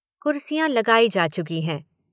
कुर्सियाँ लगाई जा चुकी हैं।